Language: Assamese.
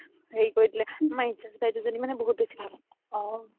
হেৰি কৰি দিলে আমাৰ in charge দুজনি বহুত বেচি ভাল